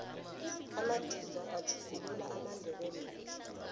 amadika atjhuglula amandebele woke